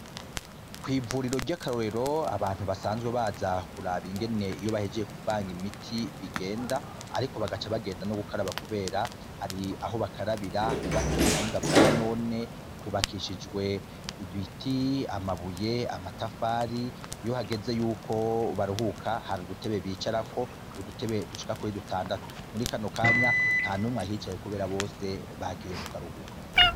Kw'ivuriro ry'akarorero abantu basanzwe bazakuraba ingene iyo bahejeye kuvanga imiti bigenda, ariko bagaca bagenda no gukaraba, kubera hari aho bakarabira hubatse mu buhinga bwa none hubakishijwe ibiti amabuye amatafari iyo hageze yuko baruhuka hari udutebe bicarako udutebe dushika kuri dutandatu muri kano kanya nta numwe ahicaye, kubera bose bagiye mu karuhuko.